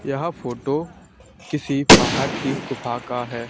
यह फोटो किसी पहाड़ की गुफा का है।